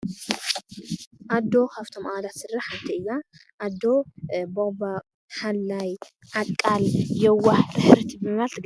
ኣዶ ካፍቶም ኣባላት ስድራ ሓንቲ እያ። ኣዶ ቦቅባቅ፣ ሓላይ፣ ዓቃል፣ የውህ፣ ርህርህቲ ብምባል ትግለፅ።